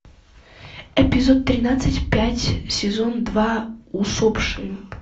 эпизод тринадцать пять сезон два усопшие